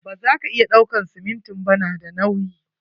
Ba za ka iya ɗauakan siminti ba, na da nauyi.